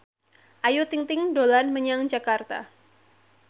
Ayu Ting ting dolan menyang Jakarta